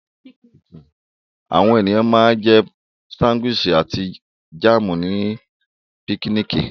Àwọn ènìyàn ma ń jẹ́ sándíwìsì àti jáàmù ní pikiniki